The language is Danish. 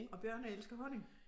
Og bjørne elsker honning